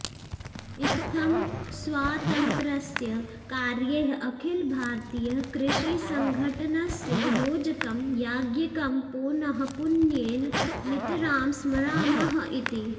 इत्थम् स्वातन्त्र्यस्य कार्यैः अखिलभारतीयकृषीसंघटनस्य योजकं याज्ञिकं पोनःपुन्येन नितरां स्मरामः इति